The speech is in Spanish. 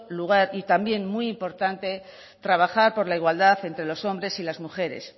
lugar y también muy importante trabajar por la igualdad entre los hombres y las mujeres